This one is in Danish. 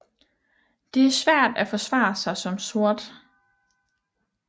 Det er svært at forsvare sig som sort